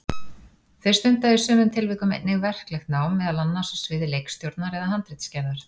Þeir stunda í sumum tilvikum einnig verklegt nám, meðal annars á sviði leikstjórnar eða handritsgerðar.